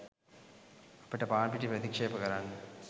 අපිට පාන්පිටි ප්‍රතික්‍ෂේප කරන්න